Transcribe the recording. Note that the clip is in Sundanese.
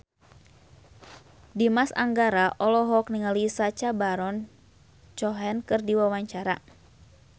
Dimas Anggara olohok ningali Sacha Baron Cohen keur diwawancara